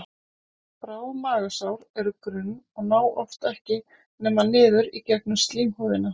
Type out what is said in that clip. Bráð magasár eru grunn og ná oft ekki nema niður í gegnum slímhúðina.